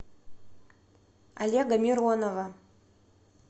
олега миронова